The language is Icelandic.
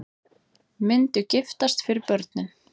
Myndu giftast fyrir börnin